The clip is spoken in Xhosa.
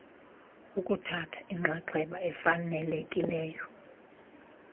ukuthatha inxaxheba efanelekileyo